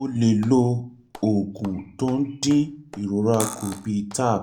o lè lo oògùn tó ń dín ìrora kù bíi tab